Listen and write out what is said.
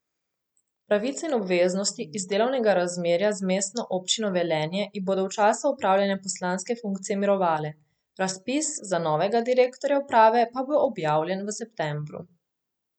Pravice in obveznosti iz delovnega razmerja z Mestno občino Velenje ji bodo v času opravljanja poslanske funkcije mirovale, razpis za novega direktorja uprave pa bo objavljen v septembru.